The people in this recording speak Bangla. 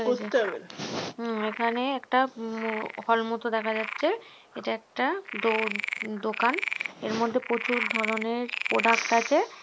উম এখানে একটা উম হল মতো দেখা যাচ্ছে এটা একটা দো-দোকান এর মধ্যে প্রচুর ধরনের প্রোডাক্ট আছে।